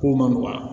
Ko man nɔgɔn wa